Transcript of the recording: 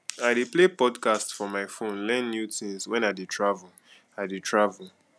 i dey play podcasts for my phone learn new tins wen i dey travel i dey travel